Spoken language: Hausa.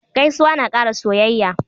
Gaisuwa na ƙara soyayya.